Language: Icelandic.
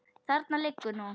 Þarna liggur nú